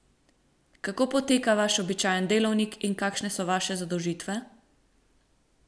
Kako poteka vaš običajen delovnik in kakšne so vaše zadolžitve?